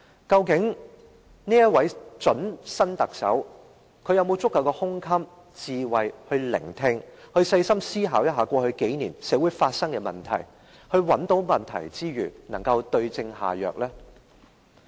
究竟這位準特首有沒有足夠的胸襟和智慧聆聽民意，細心思考過去數年社會發生的問題，找出問題之餘，更能夠對症下藥呢？